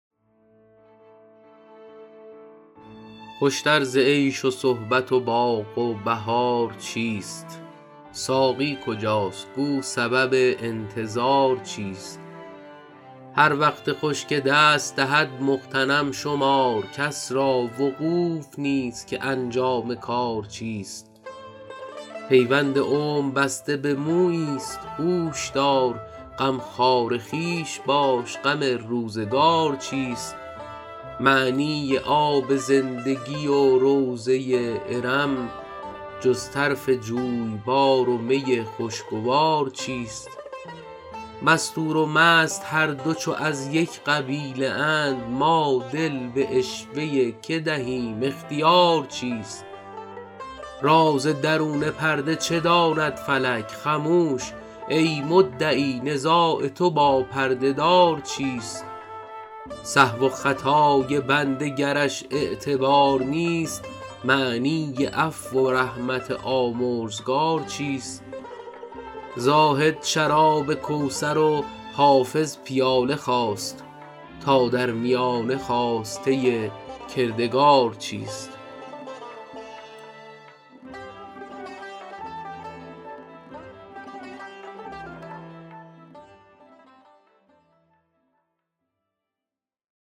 خوش تر ز عیش و صحبت و باغ و بهار چیست ساقی کجاست گو سبب انتظار چیست هر وقت خوش که دست دهد مغتنم شمار کس را وقوف نیست که انجام کار چیست پیوند عمر بسته به مویی ست هوش دار غمخوار خویش باش غم روزگار چیست معنی آب زندگی و روضه ارم جز طرف جویبار و می خوشگوار چیست مستور و مست هر دو چو از یک قبیله اند ما دل به عشوه که دهیم اختیار چیست راز درون پرده چه داند فلک خموش ای مدعی نزاع تو با پرده دار چیست سهو و خطای بنده گرش اعتبار نیست معنی عفو و رحمت آمرزگار چیست زاهد شراب کوثر و حافظ پیاله خواست تا در میانه خواسته کردگار چیست